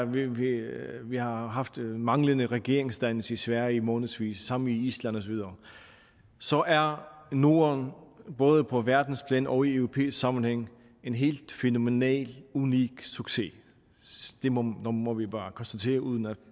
vi vi har haft manglende regeringsdannelse i sverige i månedsvis det samme i island og så videre så er norden både på verdensplan og i europæisk sammenhæng en helt fænomenal unik succes det må må vi bare konstatere uden at